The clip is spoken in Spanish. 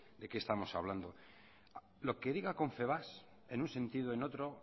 de qué estamos hablando lo que diga confebask en un sentido o en otro